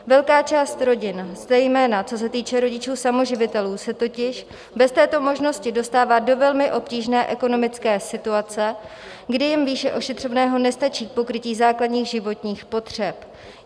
Velká část rodin, zejména co se týče rodičů samoživitelů, se totiž bez této možnosti dostává do velmi obtížné ekonomické situace, kdy jim výše ošetřovného nestačí k pokrytí základních životních potřeb.